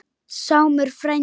Sámur frændi